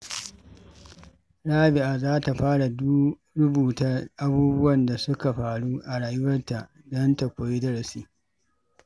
Rabi’a za ta fara rubuta abubuwan da suka faru a rayuwarta don ta koyi darasi.